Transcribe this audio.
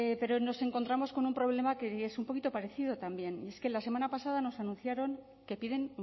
pero nos encontramos con un problema que es un poquito parecido también y es que la semana pasada nos anunciaron que piden